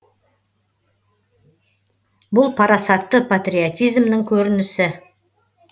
бұл парасатты патриотизмнің көрінісі